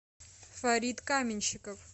фарид каменщиков